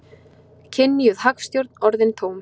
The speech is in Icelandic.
Kynjuð hagstjórn orðin tóm